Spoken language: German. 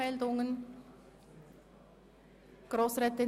Sessionsbeginn 08.00 Uhr